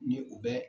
Ni u bɛ